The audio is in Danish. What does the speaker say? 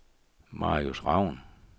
Marius Raun